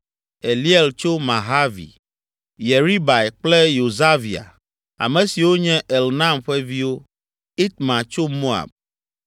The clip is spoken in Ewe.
Eliel tso Mahavi; Yeribai kple Yosavia, ame siwo nye Elnaam ƒe viwo; Itma tso Moab;